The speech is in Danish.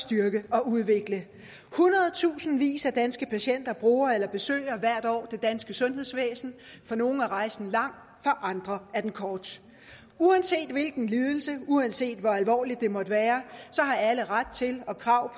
styrke og udvikle hundredtusindvis af danske patienter bruger eller besøger hvert år det danske sundhedsvæsen for nogle er rejsen lang for andre er den kort uanset hvilken ledelse uanset hvor alvorligt det måtte være har alle ret til og krav